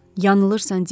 Yanılsan, Dik.